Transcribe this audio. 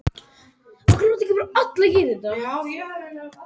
Hún er höfuðkirkja rómversk-kaþólsku kirkjunnar.